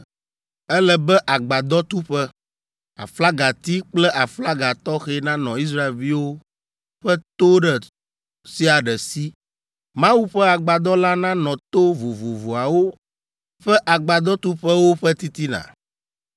“Ele be agbadɔtuƒe, aflagati kple aflaga tɔxɛ nanɔ Israelviwo ƒe to ɖe sia ɖe si. Mawu ƒe Agbadɔ la nanɔ to vovovoawo ƒe agbadɔtuƒewo ƒe titina.”